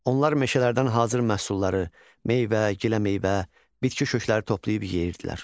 Onlar meşələrdən hazır məhsulları, meyvə, giləmeyvə, bitki kökləri toplayıb yeyirdilər.